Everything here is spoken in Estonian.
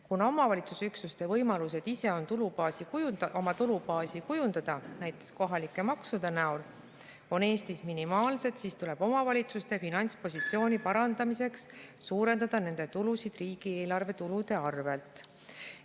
Kuna omavalitsusüksuste võimalused ise oma tulubaasi kujundada, näiteks kohalike maksude abil, on Eestis minimaalsed, tuleb nende finantspositsiooni parandamiseks suurendada nende tulusid riigieelarve tulude arvel.